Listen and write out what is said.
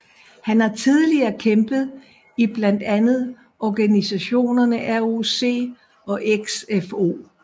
Han har tidligere kæmpet i blandt andet organisationerne ROC og XFO